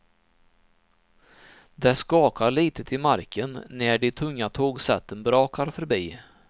Det skakar litet i marken när de tunga tågsätten brakar förbi.